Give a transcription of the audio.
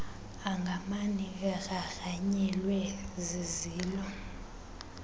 angamane egrangranyelwe zizilo